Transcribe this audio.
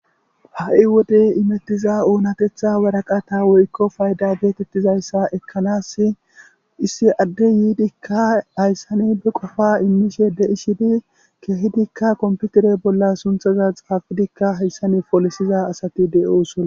ha7i wode imettiza oonatetha waraqata woykko fayda geetettizayssa ekkanas issi adde yiidikka hayssani be qofa immishe de7i shidi keehidikka komputere bolla sunthaza xaafidikka hayssani folisiza asati de7oosona